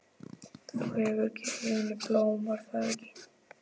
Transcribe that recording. Þú hefur gefið henni blóm, var það ekki?